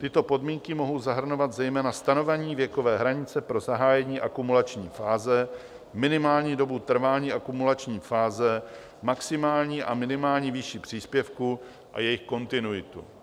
Tyto podmínky mohou zahrnovat zejména stanovení věkové hranice pro zahájení akumulační fáze, minimální dobu trvání akumulační fáze, maximální a minimální výši příspěvků a jejich kontinuitu.